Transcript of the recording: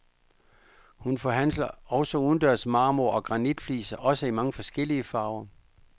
Hun forhandler også udendørs marmor- og granitfliser, også i mange forskellige farver.